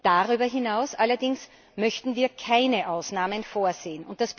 Darüber hinaus allerdings möchten wir keine Ausnahmen vorsehen.